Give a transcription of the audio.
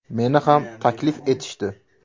Meni ham taklif etishdi.